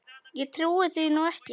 Ég trúi því nú ekki.